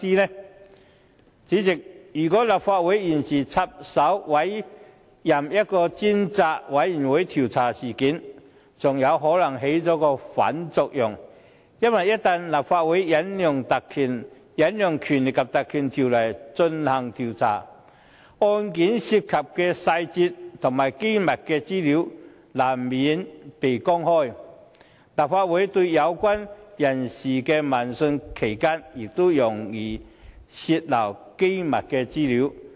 代理主席，如果立法會現時插手委任一個專責委員會調查事件，還有可能起了反作用，因為一旦立法會引用《立法會條例》進行調查，案件涉及的細節和機密資料難免被公開；立法會對有關人士的問訊期間亦容易泄漏機密資料。